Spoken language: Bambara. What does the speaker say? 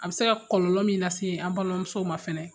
A bi se ka kɔlɔlɔ min lase an balimamusow ma fɛnɛ